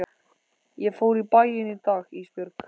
Ég fór í bæinn í dag Ísbjörg.